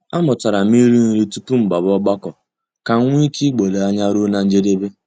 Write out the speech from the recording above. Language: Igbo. A mụtara m ịrị nri tupu m gbaba ọgbakọ kam wee nwee ike igbodo anya ruo na njedebe.